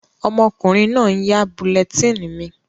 Ọmọkùnrin náà n yá bulletin mi